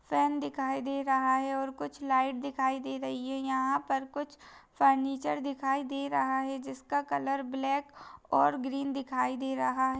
फेन दिखाई दे रहा है और कुछ लाइट दिखाई दे रही है यहाँ पर कुछ फर्नीचर दिखाई दे रहा है जिसका कलर ब्लेक और ग्रीन दिखाई दे रहा है।